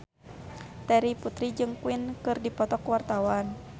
Terry Putri jeung Queen keur dipoto ku wartawan